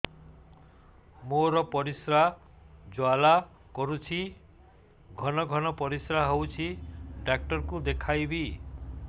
ମୋର ପରିଶ୍ରା ଜ୍ୱାଳା କରୁଛି ଘନ ଘନ ପରିଶ୍ରା ହେଉଛି ଡକ୍ଟର କୁ ଦେଖାଇବି